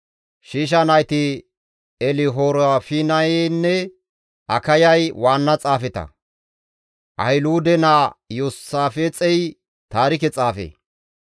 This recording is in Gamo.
Shiisha nayti Elihorefinaynne Akayay waanna xaafeta; Ahiluude naa Iyoosaafixey taarike xaafe;